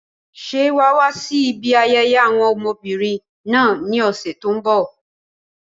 Ṣé wà á wá sí ibi ayẹyẹ àwọn ọmọbìnrin náà ní ọ̀sẹ̀ tí ó ń bọ̀?